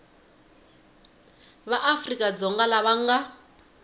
va afrika dzonga lava nga